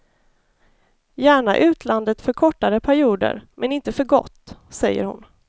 Gärna utlandet för kortare perioder men inte för gott, säger hon.